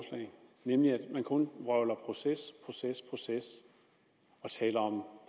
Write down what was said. nemlig ved kun at vrøvle om proces proces proces og tale om